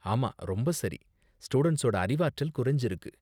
ஆமா, ரொம்ப சரி, ஸ்டூடண்ட்ஸோட அறிவாற்றல் குறைஞ்சிருக்கு.